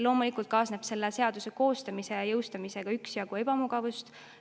Loomulikult kaasneb selle seaduse koostamise ja jõustamisega üksjagu ebamugavust.